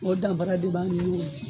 O danfara de b'an ni ɲɔncɛ